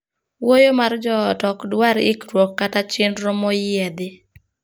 Wuoyo mar joot ok dwar ikruok kata chenro moyiedhi.